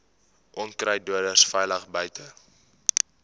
onkruiddoders veilig buite